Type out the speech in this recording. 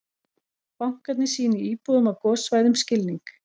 Bankarnir sýni íbúum á gossvæðum skilning